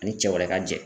Ani cɛ wɛrɛ ka jɛ